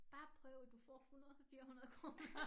Bare prøv du får 100 400 kroner